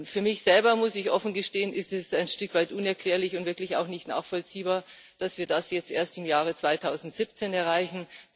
Für mich selber, muss ich offen gestehen, ist es ein Stück weit unerklärlich und wirklich auch nicht nachvollziehbar, dass wir das jetzt erst im Jahre 2017 erreichen.